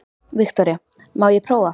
Viktoría: Má ég prófa?